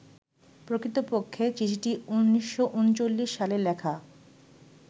প্রকৃতপক্ষে চিঠিটি ১৯৩৯ সালে লেখা